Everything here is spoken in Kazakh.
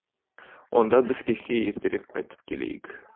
онда біз кешке ертерек қайтып келейік